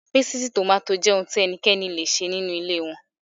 Pásítìì tòmáátì jẹ́ ohun tí ẹnikẹ́ni le ṣe nínú ilé wọn.